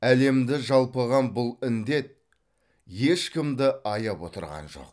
әлемді жалпыған бұл індет ешкімді аяп отырған жоқ